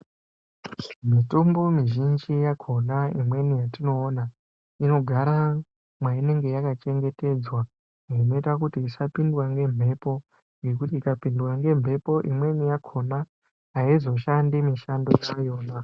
Mutombo mizhinji yakhona imweni yetinoona, inogara mwainenge yakachengetedzwa kuti isapindwa ngemphepo, ngekuti ikapindwa ngemphepo imweni yakhona, aizoshandi mishando dzayo.